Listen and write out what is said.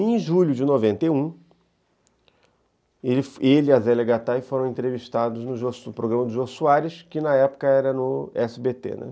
Em julho de noventa e um, ele ele e a Zélia Gattai foram entrevistados no no programa do Jô Soares, que na época era no esse bê tê, né?